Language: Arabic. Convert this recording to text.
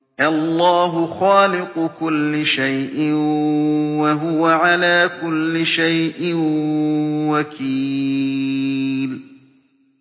اللَّهُ خَالِقُ كُلِّ شَيْءٍ ۖ وَهُوَ عَلَىٰ كُلِّ شَيْءٍ وَكِيلٌ